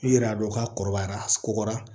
I yɛrɛ y'a dɔn k'a kɔrɔbayara a kɔgɔra